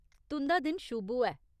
तुं'दा दिन शुभ होऐ .